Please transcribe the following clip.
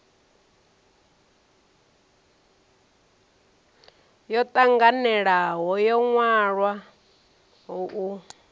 yo tanganelaho yo wanwaho u